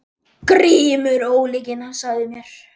GRÍMUR: Ólyginn sagði mér.